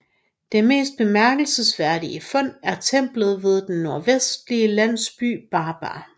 Det mest bemærkelsesværdige fund er templet ved den nordvestlige landsby Barbar